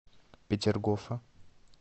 петергофа